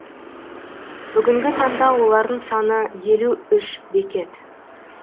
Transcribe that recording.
бүгінгі таңда олардың саны елу үш бекет